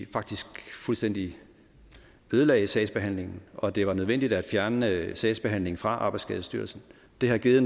faktisk fuldstændig ødelagde sagsbehandlingen og at det var nødvendigt at fjerne sagsbehandlingen fra arbejdsskadestyrelsen det har givet